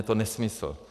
Je to nesmysl.